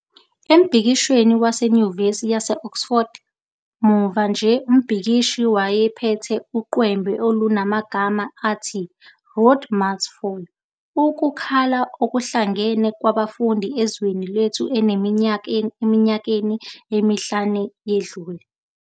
Embhikishweni waseNyuvesi yase-Oxford muva nje umbhikishi wayephethe uqwembe olunamagama athi 'Rhodes must Fall", ukukhala okuhlangene kwabafundi ezweni lethu eminyakeni emihlanu eyedlule.